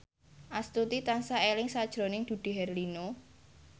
Astuti tansah eling sakjroning Dude Herlino